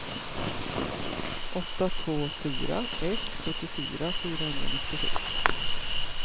åtta två fyra ett sjuttiofyra fyrahundranittiosju